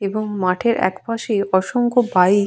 এবং মাঠের এক পাশে অসংখ্য বাইক --